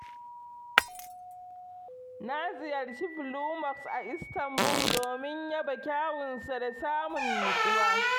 Na ziyarci Blue Mosque a Istanbul domin yaba kyawunsa da samun natsuwa.